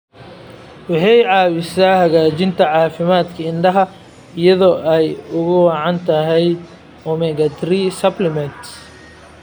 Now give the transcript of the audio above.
Waxay caawisaa hagaajinta caafimaadka indhaha iyada oo ay ugu wacan tahay omega-3 supplements.